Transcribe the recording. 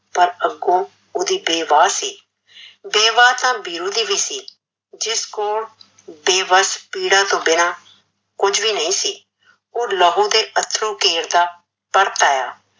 ਪਰ ਅੱਗੋਂ ਓਹਦੀ ਵੇਬਾਹ ਸੀ, ਵੇਬਾਹ ਤਾਂ ਵੀਰੂ ਦੀ ਵੀ ਸੀ, ਜਿਸ ਕੋਲ ਬੇਬੱਸ ਪੀੜਾਂ ਤੋਂ ਬਿਨਾਂ ਕੁਝ ਵੀ ਨਹੀਂ ਸੀ, ਓਹ ਲਹੂ ਦੀ ਅਥੱਰੂ ਕੇਰਦਾ ਪਰਤ ਆਇਆ।